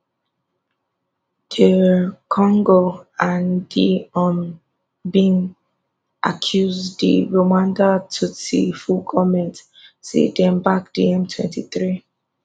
dr congo and di un bin accuse di rwanda tutsi full goment say dem back di m twenty three